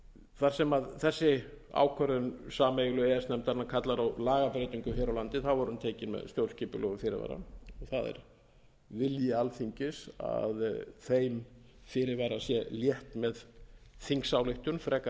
þar sem þessi ákvörðun sameiginlegu e e s nefndarinnar kallar á lagabreytingu hér á landi er hún tekin með stjórnskipulegum fyrirvara það er vilji alþingis að þeim fyrirvara sé létt með þingsályktun fremur en að